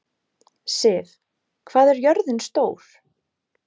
Siv, hvað er jörðin stór?